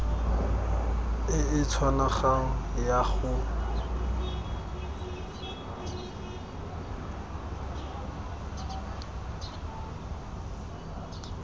e e tshwanang ya go